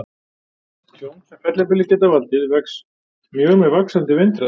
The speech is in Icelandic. Tjón sem fellibyljir geta valdið vex mjög með vaxandi vindhraða.